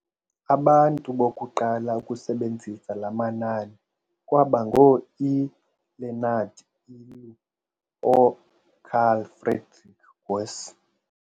Abantu bokuqala ukusebenzisa laa manani kwaba ngoo-e Leonard Euler no-Carl Friedrich Gauss.